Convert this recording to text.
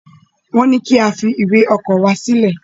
Wọn ní ki a fi ìwé ọkọ wa silẹ.